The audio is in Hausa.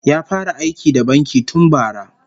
Ya fara aiki da banki tun bara